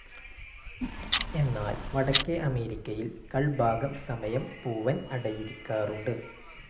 എന്നാൽ വടക്കെ അമേരിക്കയിൽ കൾ ഭാഗം സമയം പൂവൻ അടയിരിക്കാറുണ്ട്.